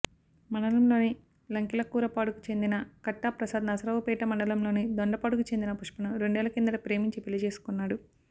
మండలంలోని లంకెలకూరపాడుకు చెందిన కట్టా ప్రసాద్ నరసరావుపేట మండలంలోని దొండపాడుకు చెందిన పుష్పను రెండేళ్ల కిందట ప్రేమించి పెళ్లి చేసుకున్నాడు